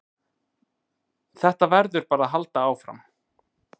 Þetta verður bara að halda áfram